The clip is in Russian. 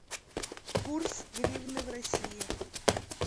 курс гривны в россии